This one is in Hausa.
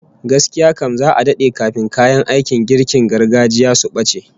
Gaskiya kam, za'a dade kafin kayan aikin girkin gargajiya su bace